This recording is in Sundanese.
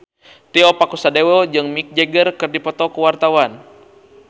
Tio Pakusadewo jeung Mick Jagger keur dipoto ku wartawan